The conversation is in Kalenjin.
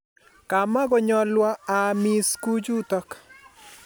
kamukonyalwo aamis kuchutok